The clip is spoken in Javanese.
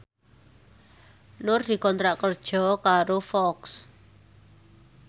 Nur dikontrak kerja karo Fox